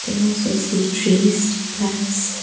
and also see trees plants.